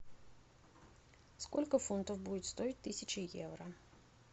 сколько фунтов будет стоить тысяча евро